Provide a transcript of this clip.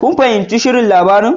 Kun fahimci shirin labarin